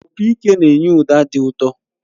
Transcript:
Opị ike na-enye ụda dị ụtọ